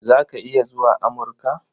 Za ka iya zuwa Amurka?